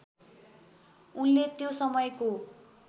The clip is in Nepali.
उनले त्यो समयको